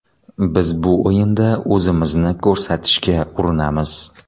Biz bu o‘yinda o‘zimizni ko‘rsatishga urinamiz.